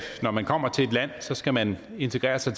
når man kommer til et land skal man integrere sig